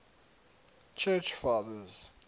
church fathers